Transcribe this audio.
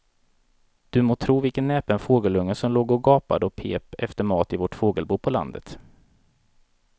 Du må tro vilken näpen fågelunge som låg och gapade och pep efter mat i vårt fågelbo på landet.